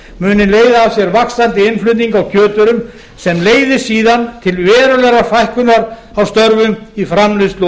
leiða af sér vaxandi innflutning á kjötvörum sem leiði síðan til verulegrar fækkunar á störfum í framleiðslu og